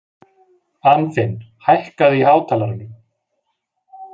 Anfinn, hækkaðu í hátalaranum.